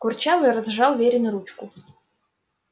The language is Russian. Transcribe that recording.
курчавый разжал верину ручку